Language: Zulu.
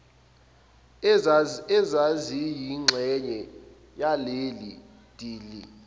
ezaziyingxenye yaleli dili